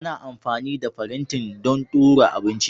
Ana amfani da farantin don ɗora abinci